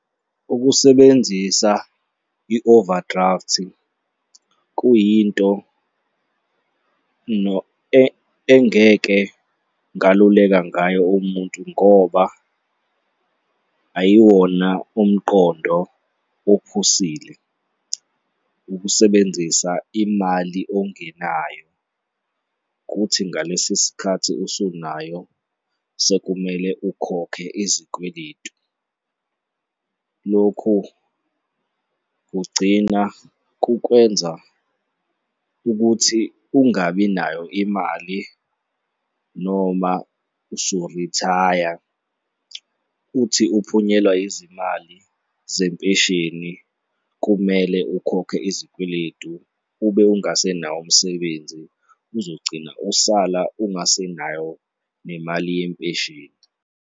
Ukusebenzisa i-overdraft-i kuyinto engeke ngaluleka ngayo umuntu ngoba ayiwona umqondo ophusile, ukusebenzisa imali ongenayo, kuthi ngalesi sikhathi usunayo sekumele ukhokhe izikweletu. Lokhu kugcina kukwenza ukuthi ungabi nayo imali noma usu-retire, uthi uphunyelwa izimali zempesheni, kumele ukhokhe izikweletu ube ungasenayo umsebenzi uzogcina usala ungasenayo nemali yempesheni.